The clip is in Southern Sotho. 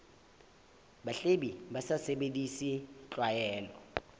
bahwebi ba sa sebedise tlwaelo